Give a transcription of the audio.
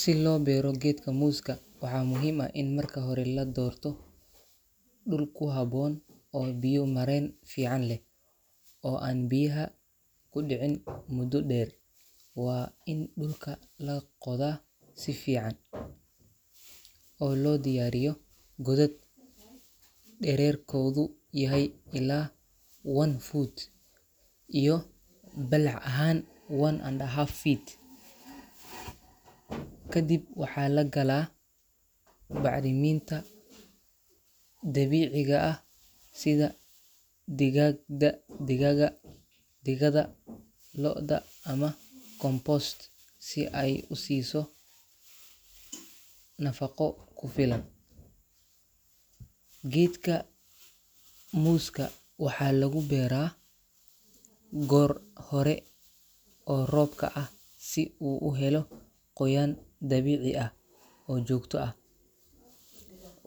Si loo beero geedka muuska, waxaa muhiim ah in marka hore la doorto dhul ku habboon oo biyo-mareen fiican leh, oo aan biyaha ku dhicin muddo dheer. Waa in dhulka la qoda si fiican oo loo diyaariyo godad dhererkoodu yahay ilaa one foot iyo balac ahaan one and a half feet. Ka dib waxaa la galaa bacriminta dabiiciga ah sida digada lo’da ama compost si ay u siiso nafaqo ku filan. Geedka muuska waxaa lagu beeraa goor hore oo roobka ah si uu u helo qoyaan dabiici ah oo joogto ah.